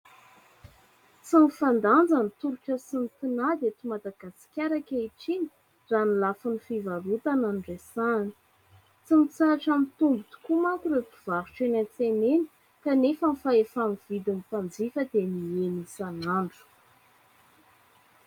Tsy mifandanja ny tolotra sy ny tinady eto Madagasikara ankehitriny raha ny lafiny fivarotana no resahana. Tsy mitsahatra mitombo tokoa manko ireo mpivarotra eny an-tsena eny kanefa ny fahefa-mividy ny mpanjifa dia nihena isanandro.